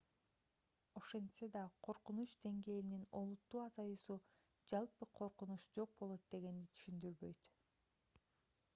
ошентсе да коркунуч деңгээлинин олуттуу азаюусу жалпы коркунуч жок болот дегенди түшүндүрбөйт